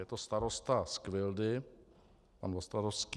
Je to starosta z Kvildy pan Vostradovský.